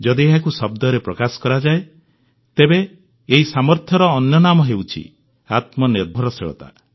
ଯଦି ଏହାକୁ ଶବ୍ଦରେ ପ୍ରକାଶ କରାଯାଏ ତେବେ ଏହି ସାମର୍ଥ୍ୟର ନାମ ହେଉଛି ଆତ୍ମନିର୍ଭରଶୀଳତା